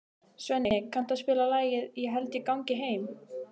Svenni, kanntu að spila lagið „Ég held ég gangi heim“?